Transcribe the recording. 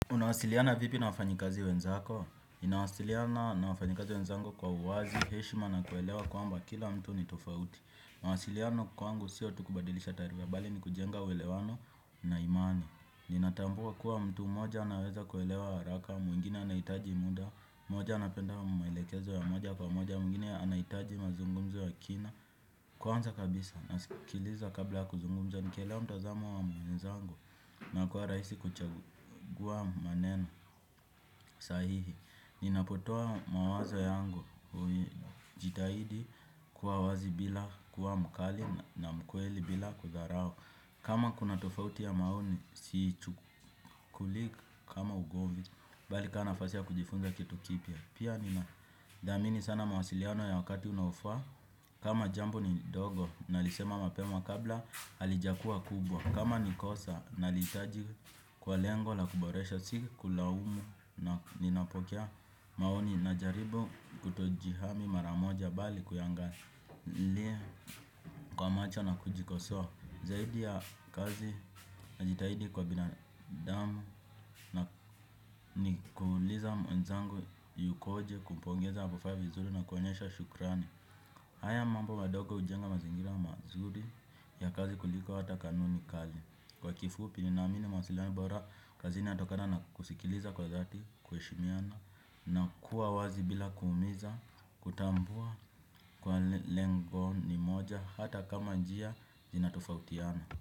Unawasiliana vipi na wafanyikazi wenzako? Nawasiliana na wafanyikazi wenzangu kwa uwazi, heshima na kuelewa kwamba kila mtu ni tofauti. Mawasiliano kwangu sio tu kubadilisha taarifa, bali ni kujenga uelewano na imani. Ninatambua kuwa mtu moja anaweza kuelewa haraka, mwingine anaitaji muda, moja anapenda maelekezo ya moja kwa moja, mwingine anaitaji mazungumzo ya kina. Kwanza kabisa, nasikiliza kabla kuzungumza, nikielewa mtazamo wa mwenzangu. Na kuwa rahisi kuchagua maneno sahihi ninapotoa mawazo yangu kui jitahidi kuwa wazi bila kuwa mkali na mkweli bila kudharau. Kama kuna tofauti ya maoni siichukulii ka kama ugomvi bali kaa nafasi ya kujifunza kitu kipya pia nina dhamini sana mawasiliano ya wakati unaofaa. Kama jambo ni dogo nalisema mapema kabla halijakua kubwa kama ni kosa nalitaji kwa lengo la kuboresha sikulaumu na ninapokea maoni najaribu kutojihami maramoja bali kuyangalia kwa macho na kujikosoa zaidi ya kazi najitahidi kwa binadamu na ni kuuliza mwenzangu yukoje kumpongeza apofanya vizuri na kuonyesha shukrani. Haya mambo wadogo ujenga mazingira mazuri ya kazi kuliko hata kanuni kali kwa kifupi ninaamini masilahi bora kazini inatokana na kusikiliza kwa dhati kuheshimiana. Na kuwa wazi bila kuumiza. Kutambua kuwa le lengo ni moja hata kama njia zinatofautiana.